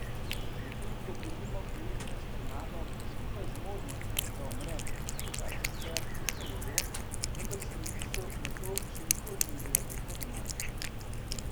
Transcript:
Medtem ko gre mimo devetnajst tornadov, skupaj z možnostjo, da umrem, v kar sicer nisem verjel, vendar se mi misel na to še nikoli ni zdela tako domača.